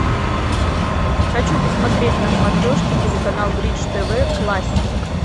хочу посмотреть на смотрешке телеканал бридж тв классик